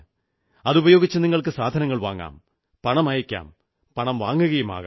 അതുപയോഗിച്ച് നിങ്ങൾക്ക് സാധനങ്ങൾ വാങ്ങാം പണമയക്കാം പണം വാങ്ങുകയുമാകാം